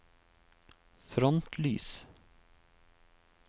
frontlys